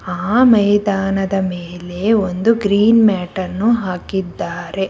ಆ ಮೈದಾನನದ ಮೇಲೆ ಒಂದು ಗ್ರೀನ್ ಮ್ಯಾಟನ್ನು ಹಾಕಿದ್ದಾರೆ.